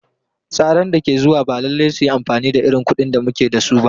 Tsaran da ke zuwa ba lallai su yi amfani da irin kuɗin da muke da su ba.